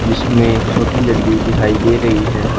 जिसमें एक छोटी लड़की दिखाई दे रही है।